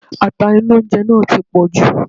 Ata inú oúnjẹ náà ti pọ̀jù.